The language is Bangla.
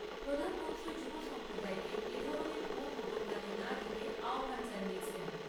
প্রধানমন্ত্রী যুব সম্প্রদায়কে এ ধরণের ভুয়ো খবরে কান না দিতে আহ্বান জানিয়েছেন।